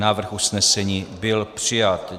Návrh usnesení byl přijat.